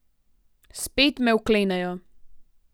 Spet me vklenejo.